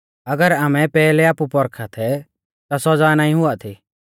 अगर आमै पैहलै आपु पौरखा थै ता सौज़ा नाईं हुआ थी